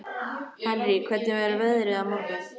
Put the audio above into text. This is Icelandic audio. Henrý, hvernig verður veðrið á morgun?